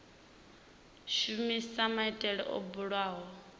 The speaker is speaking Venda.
shumisa maitele o bulwaho kha